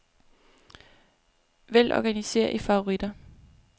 Vælg organiser i favoritter.